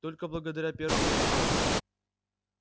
только благодаря первому закону